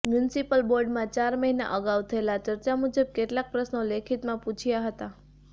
municipal બોર્ડમાં ચાર મહિના અગાઉ થયેલ ચર્ચા મુજબ કેટલાંક પ્રશ્નો લેખિતમાં પૂછ્યા હતા